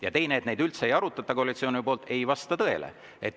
Ja teine asi: see, et neid üldse koalitsioon ei aruta, ei vasta tõele.